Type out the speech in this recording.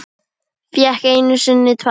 Fékk einu sinni tvær.